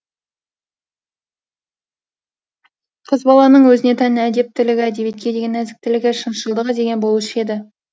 қыз баланың өзіне тән әдептілігі әдебиетке деген нәзіктілігі шыншылдығы деген болушы еді